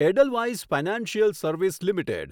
Edelweiss financial service limited